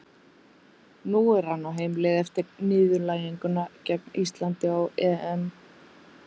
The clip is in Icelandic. Nú er hann á heimleið eftir niðurlæginguna gegn Íslandi á EM.